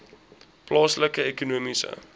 plaaslike ekonomiese